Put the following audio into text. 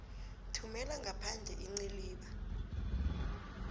thumela ngaphandle iinciliba